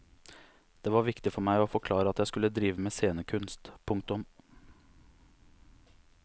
Det var viktig for meg å forklare at jeg skulle drive med scenekunst. punktum